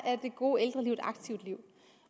det gode ældreliv et aktivt liv